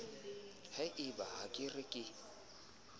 hoba ha ke re ke